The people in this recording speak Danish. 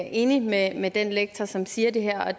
er enig med med den lektor som siger det her og